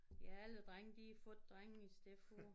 Ja alle drenge de har fået drenge i stedet for